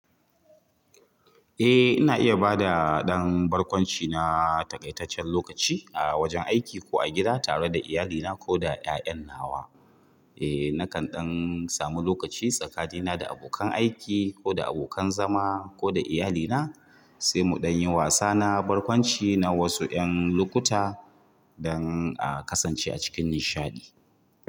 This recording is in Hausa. Eh, ina iya bada ɗan barkwanci na taƙaitaccen lokaci a wajen aiki ko a gida tare da iyalina ko da 'ƴa'ƴan nawa. Eh, na kan ɗan samu lokaci tsakanina da abokan aiki ko da abokan zama ko da iyalina sai mu ɗan yi wasa na barkwanci na wasu 'ƴan lukuta dan a kasance a cikin nishaɗi.